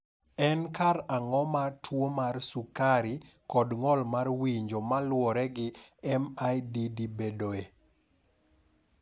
En karang’o ma tuo mar sukari kod ng’ol mar winjo ma luwore gi MIDD bedoe?